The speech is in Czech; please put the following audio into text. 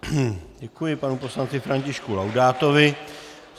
Děkuji panu poslanci Františku Laudátovi.